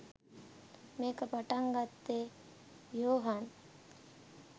මේක පටන් ගත්තේ යොහාන්